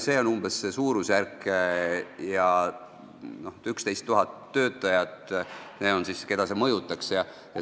See on umbes see suurusjärk, see mõjutaks 11 000 töötajat.